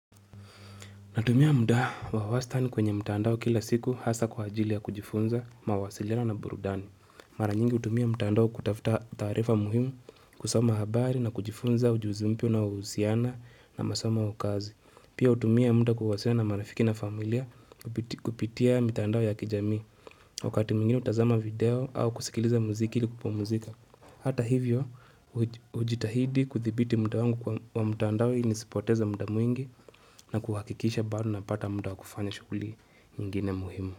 Natumia muda wa wastani kwenye mtaandao kila siku hasa kwa ajilia kujifunza mawasiliano na burudani. Mara nyingi utumia mtaandao kutafuta tarifa muhimu kusoma habari na kujifunza ujuzi mpya na usiana na masoma ukazi. Pia utumia mta kuwasiliana na marafiki na familia kupitia mtaandao ya kijami. Wakati mwingini utazama video au kusikiliza muziki ili kupumuzika. Hata hivyo, ujitahidi kuthibiti muda wangu wa mtandai nisipoteza mda mwingi na kuhakikisha bado na pata muda wakufanya shughuli ingine muhimu.